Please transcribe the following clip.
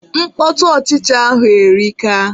Mkpọtụ ọchịcha ahụ erika.